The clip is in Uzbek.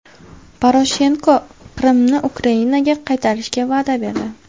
Poroshenko Qrimni Ukrainaga qaytarishga va’da berdi.